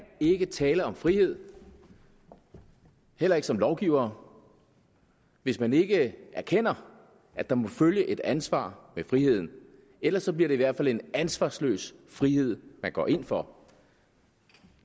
ikke tale om frihed heller ikke som lovgivere hvis man ikke erkender at der må følge et ansvar med friheden ellers bliver det i hvert fald en ansvarsløs frihed man går ind for